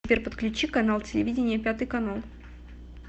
сбер подключи канал телевидения пятый канал